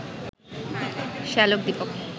শ্যালক Dipak